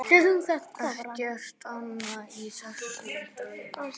Ekkert annað í þessum draumi.